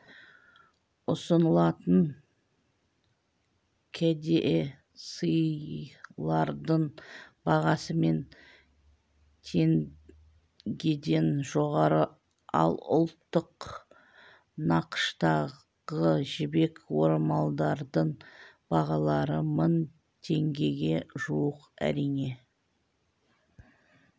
ұсынылатын кәдесыйлардың бағасы мың теңгеден жоғары ал ұлттық нақыштағы жібек орамалдардың бағалары мың теңгеге жуық әрине